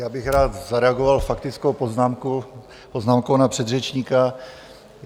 Já bych rád zareagoval faktickou poznámkou na předřečníka.